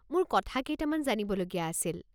মোৰ কথা কেইটামান জানিবলগীয়া আছিল।